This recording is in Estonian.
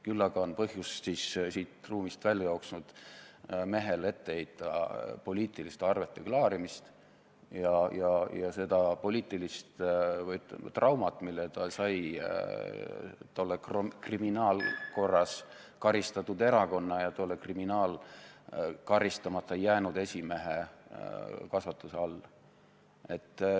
Küll aga on põhjust siit ruumist välja jooksnud mehele ette heita poliitiliste arvete klaarimist ja seda poliitilist, ütleme, traumat, mille ta sai tolle kriminaalkorras karistatud erakonna ja tolle kriminaalkorras karistamata jäänud esimehe kasvatuse all.